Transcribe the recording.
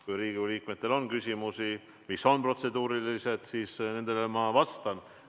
Kui Riigikogu liikmetel on küsimusi, mis on protseduurilised, siis nendele ma vastan.